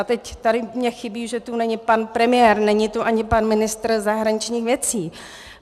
A teď tady mně chybí, že tu není pan premiér, není tu ani pan ministr zahraničních věcí.